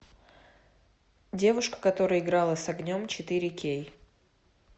девушка которая играла с огнем четыре кей